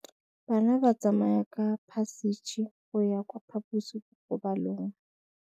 Bana ba tsamaya ka phašitshe go ya kwa phaposiborobalong.